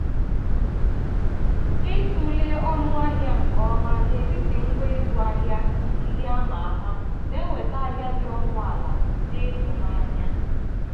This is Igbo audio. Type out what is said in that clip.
ịtụle ọnụ ahịa nke ọma n'etiti ngwa ịzụ ahịa ndị a ma ama na-eweta ahịa dị ọnụ ala dị ịtụnanya.